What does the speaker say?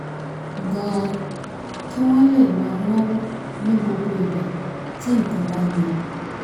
gan-an kí wọ́n lè máa náwó ní gbogbo ìgbà tí nǹkan bá le